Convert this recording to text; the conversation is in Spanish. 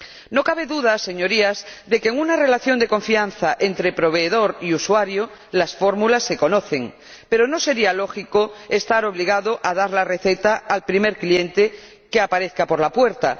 No cabe duda, señorías, de que en una relación de confianza entre proveedor y usuario las fórmulas se conocen, pero no sería lógico estar obligado a dar la receta al primer cliente que aparezca por la puerta.